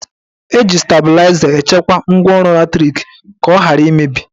Eji stabịlaịza echekwa ngwaọrụ latrik ka ọ ghara imebi